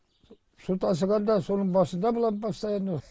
су тасығанда соның басында болады постоянно